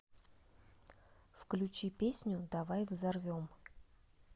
включи песню давай взорвем